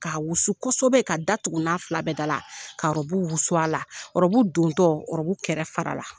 Ka wusu kosɔbɛ ka datugu n na fila bɛɛ dala ka ɔrɔbu wusu a la ɔrɔbu dontɔ ɔrɔbu kɛrɛ farala